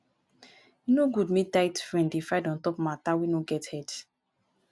e no good make tight friend dey fight on top mata wey no get head.